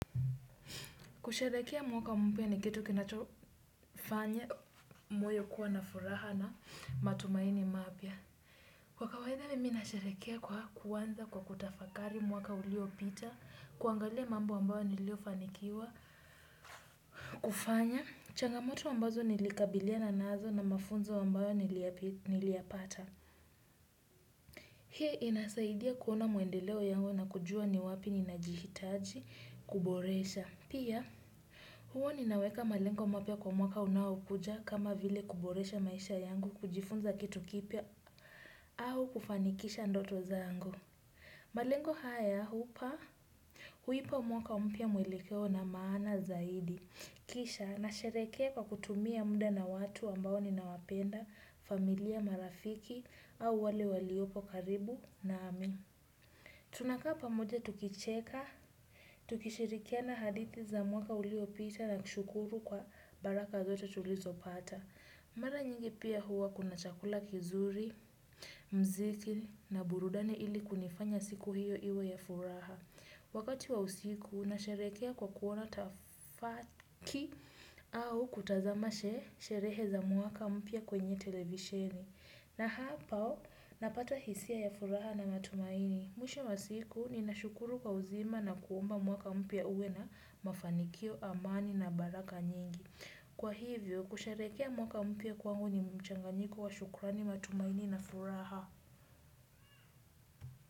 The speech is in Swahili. Kusharehekea mwaka mpya ni kitu kinachofanya moyo kuwa na furaha na matumaini mapya. Kwa kawaia mimi nasharehekea kwa kuanza kwa kutafakari mwaka ulio pita, kuangalia mambo ambayo niliyo fanikiwa, kufanya, changamoto ambazo nilikabiliana nazo na mafunzo ambayo niliyapata. Hii inasaidia kuona maendeleo yangu na kujua ni wapi ninajihitaji, kuboresha. Pia, huwa ninaweka malengo mapya kwa mwaka unaokuja kama vile kuboresha maisha yangu kujifunza kitu kipya au kufanikisha ndoto zangu. Malengo haya hupa huipa mwaka mpya mwelekeo na maana zaidi. Kisha, nasherehekea kwa kutumia muda na watu ambao ninawapenda familia marafiki au wale waliopo karibu naami. Tunakaa pamoja tukicheka, tukishirikiana hadithi za mwaka uliopita na kushukuru kwa baraka zote tulizo pata. Mara nyingi pia huwa kuna chakula kizuri, mziki na burudani ili kunifanya siku hiyo iwe ya furaha. Wakati wa usiku, nasherekea kwa kuona tafaki au kutazama sherehe za mwaka mpya kwenye televisheni. Na hapo, napata hisia ya furaha na matumaini. Mwisho wa siku, ninashukuru kwa uzima na kuomba mwaka mpya uwe na mafanikio, amani na baraka nyingi. Kwa hivyo, kusharehekea mwaka mpya kwangu ni mchanganyiko wa shukurani matumaini na furaha.